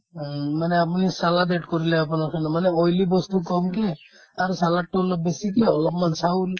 উম, মানে আপুনি salad add কৰিলে আপোনাৰ কাৰণে মানে oily বস্তু কমকে আৰু salad তো অলপ বেছি কিয় অলপমান চাউল